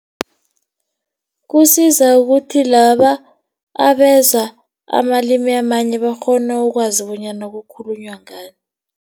Kusiza ukuthi laba abeza amalimi amanye bakghone ukwazi bonyana kukhulunywa ngani.